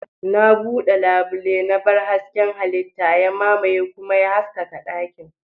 Na bude labule, na bar hasken halitta ya mamaye kuma ya haskaka dakin.